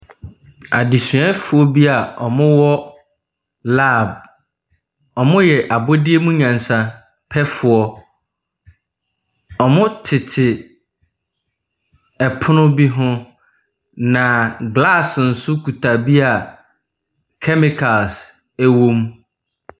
Adesuafoɔ bi a wɔwɔ lab. Wɔyɛ abɔdeɛmunyansapɛfoɔ. Wɔtete ɛpono bi ho. Na glass nso kuta bi a kɛmikals ɛwɔ mu.